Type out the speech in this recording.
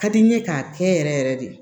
Ka di n ye k'a kɛ yɛrɛ yɛrɛ de